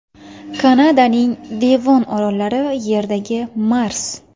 Kanadaning Devon orollari: Yerdagi Mars.